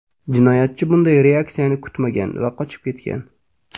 Jinoyatchi bunday reaksiyani kutmagan va qochib ketgan.